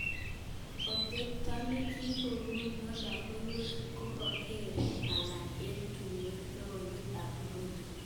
Otebto nekikonunen lokowek kokakeker alak eng tukukap lokowek eng Burudi.